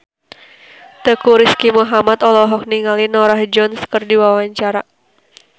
Teuku Rizky Muhammad olohok ningali Norah Jones keur diwawancara